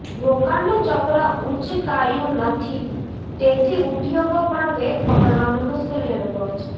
રોકાણનું ચક્ર ઊંચકાયું નથી તેથી ઉદ્યોગો પણ વેગ પકડવામાં મુશ્કેલી અનુભવે છે